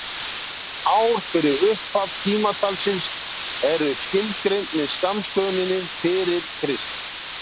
ár fyrir upphaf tímatalsins eru tilgreind með skammstöfunum fyrir krist